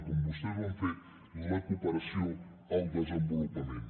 com vostès ho han fet la cooperació al desenvolupament